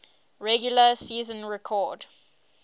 regular season record